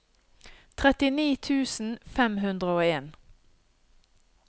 trettini tusen fem hundre og en